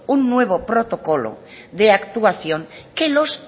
un nuevo protocolo de actuación que los